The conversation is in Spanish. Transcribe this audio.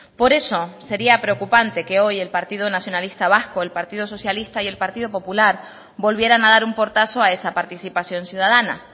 por eso sería preocupante que hoy el partido nacionalista vasco el partido socialista y el partido popular volvieran a dar un portazo a esa participación ciudadana